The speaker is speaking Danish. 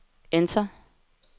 enter